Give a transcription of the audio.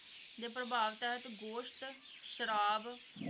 ਦੇ ਪ੍ਰਭਾਵ ਗੋਸ਼ਤ, ਸ਼ਰਾਬ